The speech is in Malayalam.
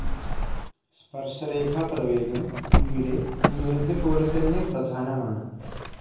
സ്പർശരേഖാ പ്രവേഗം ഇവിടെ ഉയരത്തെപ്പോലെതന്നെ പ്രധാനമാണ്.